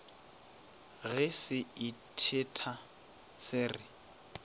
ge se itheta se re